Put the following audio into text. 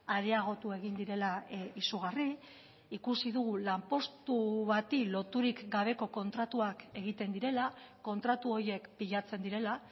areagotu egin direla izugarri ikusi dugu lanpostu bati loturik gabeko kontratuak egiten direla kontratu horiek pilatzen direla